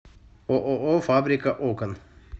ооо фабрика окон